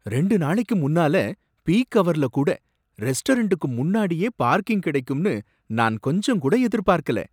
ரெண்டு நாளைக்கு முன்னால, பீக்ஹவர்லகூட ரெஸ்டாரண்ட்டுக்கு முன்னாடியே பார்க்கிங் கிடைக்கும்னு நான் கொஞ்சங்கூட எதிர்பார்க்கல.